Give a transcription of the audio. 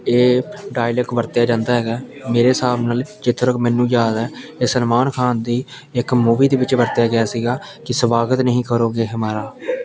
ਇਹ ਡਾਇਲੌਗ ਵਰਤਿਆ ਜਾਂਦਾ ਹੈਗਾ ਮੇਰੇ ਹਿਸਾਬ ਨਾਲ ਜਿੱਥੋਂ ਤੱਕ ਮੈਨੂੰ ਯਾਦ ਆ ਇਹ ਸਲਮਾਨ ਖਾਨ ਦੀ ਇੱਕ ਮੂਵੀ ਦੇ ਵਿੱਚ ਵਰਤਿਆ ਗਿਆ ਸੀਗਾ ਕਿ ਸਵਾਗਤ ਨਹੀਂ ਕਰੋਗੇ ਹਮਾਰਾ--